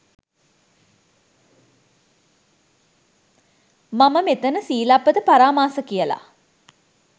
මම මෙතන සීලබ්බත පරාමාස කියල